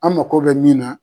Anga yVRD n bO B